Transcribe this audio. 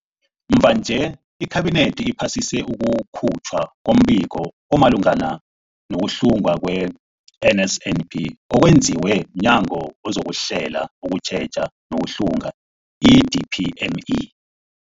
Mvanje, iKhabinethi iphasise ukukhutjhwa kombiko omalungana no-kuhlungwa kwe-NSNP okwenziwe mNyango wezokuHlela, ukuTjheja nokuHlunga, i-DPME.